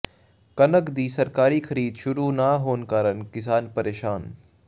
ਕਣਕ ਦੀ ਸਰਕਾਰੀ ਖਰੀਦ ਸ਼ੁਰੂ ਨਾ ਹੋਣ ਕਾਰਨ ਕਿਸਾਨ ਪ੍ਰੇਸ਼ਾਨ